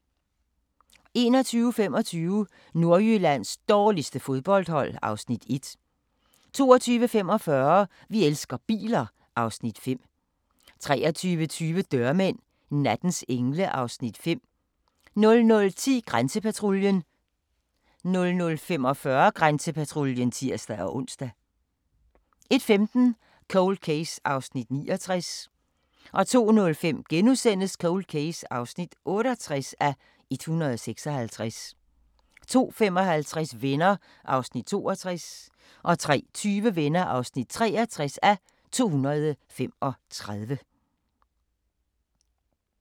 21:25: Nordjyllands dårligste fodboldhold (Afs. 1) 22:45: Vi elsker biler (Afs. 5) 23:20: Dørmænd – nattens engle (Afs. 5) 00:10: Grænsepatruljen 00:45: Grænsepatruljen (tir-ons) 01:15: Cold Case (69:156) 02:05: Cold Case (68:156)* 02:55: Venner (62:235) 03:20: Venner (63:235)